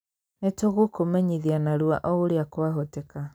Nĩ tũgũkũmenyithia narua o ũrĩa kwahoteka.